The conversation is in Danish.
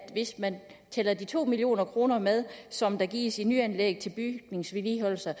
hvis man tæller de to million kroner med som gives til nyanlæg og bygningsvedligeholdelse